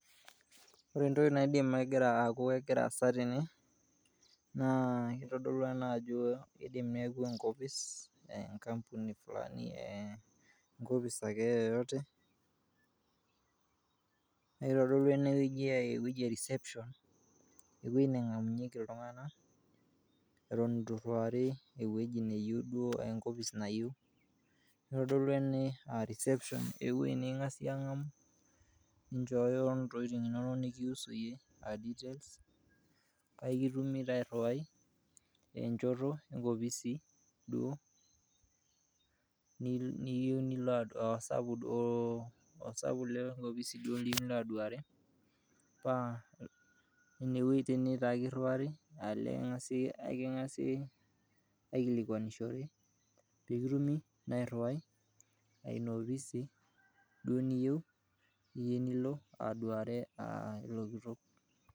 Ore entoki naidim aaku egira aasa tene naa itodolu ena ajo idim neeku enkopis e nkamuni fulani, enkopis ake yeyote, nitodolu ene wueji aa ewueji ake e reception ewoi neng'amunyieki iltung'anak eton itu iriwari ewueji neyeu duo enkopis nayeu. Itodolu ene a reception, ewuoi niking'asi aang'amu ninjooyo ntokitin inonok nekiusu iyie a details. Paake kitumi taa airiwai enchoto enkopisi duo niyiu nilo osapuk duo osapuk duo lina opisi liyeu nilo aduare paa ine wue taa nye kiriwari aa neking'asi king'asi aikilikuanishore pee kitumi naa airiwai aa ina opisi duo niyeu niyeu nilo aduare ilo kitok.